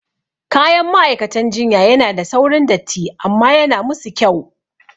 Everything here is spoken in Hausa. Kayan ma'aikatan jinya yana da saurin datti amma yana musu kyau